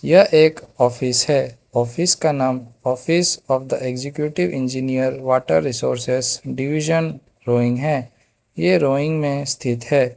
यह एक ऑफिस है ऑफिस का नाम office of the executive engineer water resources division Roing है ये रोइंग में स्थित है।